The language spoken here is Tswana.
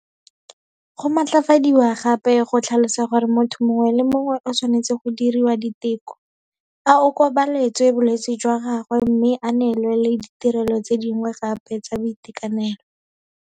Go matlafadiwa gape go tlhalosa gore motho mongwe le mongwe o tshwanetse go diriwa diteko, a okobaletswe bolwetse jwa gagwe mme a neelwe le ditirelo tse dingwe gape tsa boitekanelo.